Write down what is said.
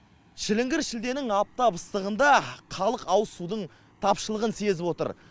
шіліңгір шілденің аптап ыстығында халық ауызсудың тапшылығын сезіп отыр